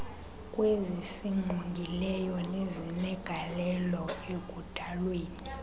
kwezisingqongileyo nezinegalelo ekudalweni